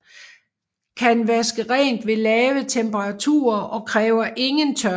Kan vaske rent ved lave temperaturer og kræver ingen tørring